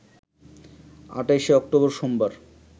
২৮শে অক্টোবর সোমবার